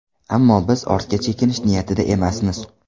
Ammo biz ortga chekinish niyatida emasmiz.